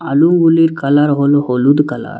আলুগুলির colour হলো হলুদ colour.